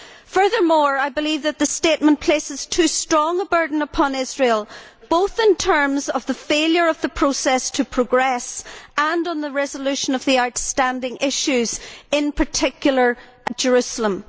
Furthermore, I believe that the statement places too strong a burden upon Israel, both in terms of the failure of the process to progress and on the resolution of the outstanding issues in particular, Jerusalem.